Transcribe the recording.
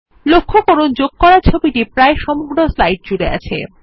লক্ষ্য করুন যোগ করা ছবিটি প্রায় সমগ্র স্লাইড জুড়ে রয়েছে